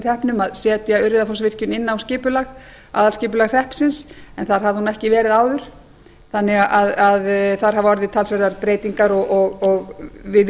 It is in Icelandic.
að setja urriðafoss inn á aðalskipulag hreppsins en þar hafði hún ekki verið áður þannig að þar hafa orðið talsverðar breytingar og við